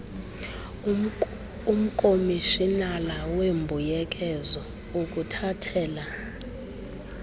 umkomishinala weembuyekezo ukuthathela